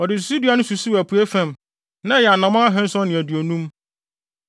Ɔde susudua no susuw apuei fam; na ɛyɛ anammɔn ahanson ne aduonum.